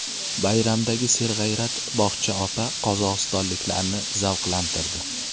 Bayramdagi serg‘ayrat bog‘cha opa qozog‘istonliklarni zavqlantirdi .